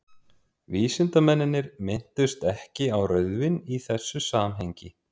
vísindamennirnir minntust ekki á rauðvín í þessu samhengi